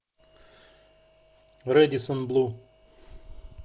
рэдиссон блу